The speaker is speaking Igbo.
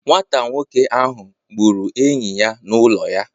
Nwata nwoke ahụ gburu enyi ya n'ụlọ ya